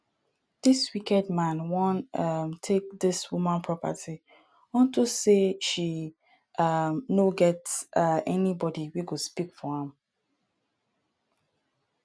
dis wicked man wan um take dis woman property unto say she um no get um anybody wey go speak for am